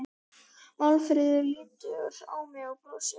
Málfríður lítur á mig og brosir.